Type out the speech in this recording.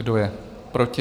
Kdo je proti?